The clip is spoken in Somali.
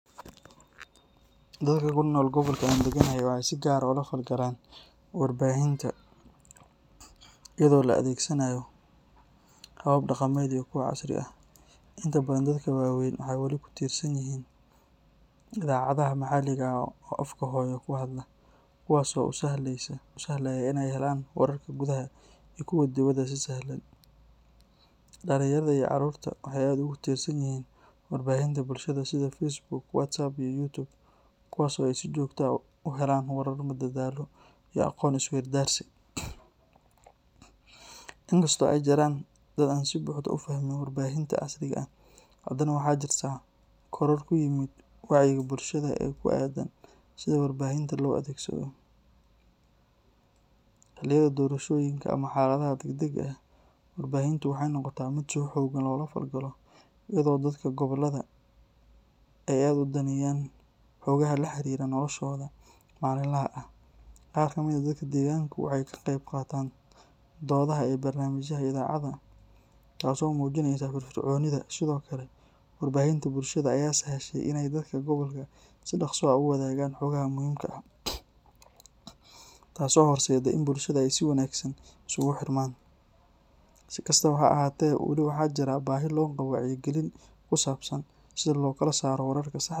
Doli kunol gobolka an daganahay waxee si gar ah ola fal galanwar bahinta iyado la adhegsanayo habab daqameed iyo kuwa casri ah, inta badan kuwa wawen waxee wali kutirsan yihin idacadhaha maxaliga eh oo afka hooyo kuhadla, kuwas oo u sahleya in ee helan warka gudhaha iyo kuwa diwaada si sahlan dalinyaada iyo carurta waxee kutosan yihin warbahinta bulshaada sitha Facebook tiktok iyo youtube kuwas oo si jogto ah u helan warar iyo aqon iswardaysi in kasto ee jiran dad oo si fican u fahmin warbahinta casriga ah dad waxaa jiran korar kuyihin wacyi galinta bulshaada sitha warbahinta lo adhegsadho xiliyaada dorashoyinka ama xaladaha dag dag ah warbahinta waxee noqota miid si xogan loga fikiro iyadho dadka gobolaada ee daneyan xolaha laxiriro noloshodha malin laha ah qar kamiid ah deganku waxee ka qeb qatan dodhaha barnamijka iyo idhacaada taso mujineysa fir fir conitha sithokale war bahinta bulshaada aya san heshe in si doqsi ah u wadhagan, taso horsede in bulshaada isku ruxman, sikastawa ha ahate wali waxaa jira waxyaba bahi loqawa wacya galin kusabsan sitha lo kala sara wararka saxda ah.